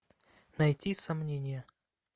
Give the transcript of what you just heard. найти сомнение